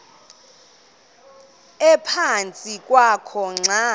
ephantsi kwakho xa